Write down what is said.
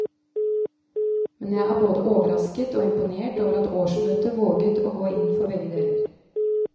Men jeg er både overrasket og imponert over at årsmøtet våget å gå inn for begge deler.